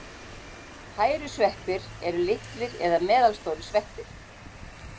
Hærusveppir eru litlir eða meðalstórir sveppir.